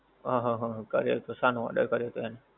અહંહંહંહં, કર્યોતો શાનો order કર્યોતો એણે?